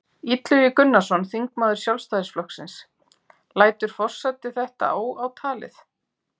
Illugi Gunnarsson, þingmaður Sjálfstæðisflokksins: Lætur forseti þetta óátalið?